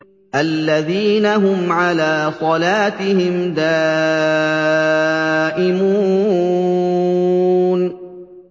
الَّذِينَ هُمْ عَلَىٰ صَلَاتِهِمْ دَائِمُونَ